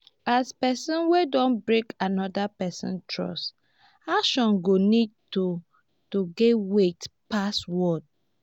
as person wey don break anoda person trust action go need to to get weight pass word